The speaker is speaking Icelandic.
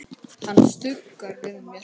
Hann stuggar við mér.